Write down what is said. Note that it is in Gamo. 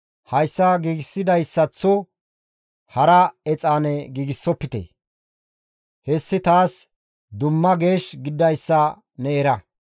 Hayssa giigsidayssaththo hara exaane giigsofte. Hessi taas dumma geesh gididayssa ne era.